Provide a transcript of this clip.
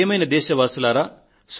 ప్రియమైన నా దేశ వాసులారా